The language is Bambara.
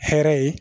Hɛrɛ ye